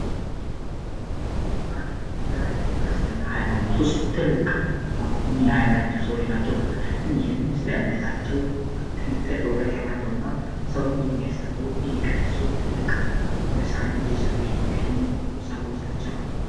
ዲያቆናት በክርስትና ሀይማኖት ውስጥ ትልቅ ሚና ያላቸው ሰዎች ናቸው። እነዚህም ስለ እምነታቸው ጥልቅ የሆነ እውቀት ያላቸው እና ሰውን የሚያስተምሩ ፣የሚቀድሱ ትልቅ የሆነ ስራን እየሰሩ የሚገኙ ሰዎች ናቸው።